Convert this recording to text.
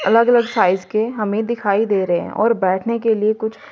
अलग अलग साइज के हमें दिखाई दे रहे है और बैठने के लिए कुछ--